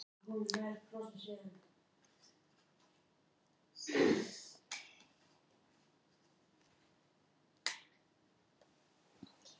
Þess vegna er mannleg tilvist sársaukafull.